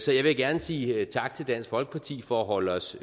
jeg vil gerne sige tak til dansk folkeparti for at holde os